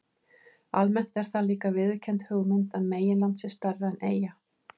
Almennt er það líka viðurkennd hugmynd að meginland sé stærra en eyja.